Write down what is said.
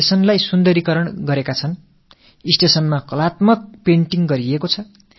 ரயில் நிலையத்தில் கலைநயத்தோடு கூடிய ஓவியங்களை வரைந்திருந்தார்கள்